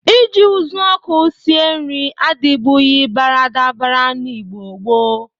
Ị ji ụzụọkụ sie nri adịbụghị baradabara n'Igbo gboo.